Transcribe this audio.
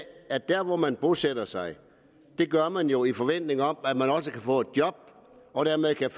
at dér hvor man bosætter sig gør man det jo i forventning om at man også kan få et job og dermed kan